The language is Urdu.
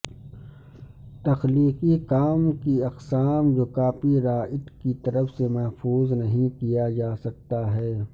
تخلیقی کام کی اقسام جو کاپی رائٹ کی طرف سے محفوظ نہیں کیا جاسکتا ہے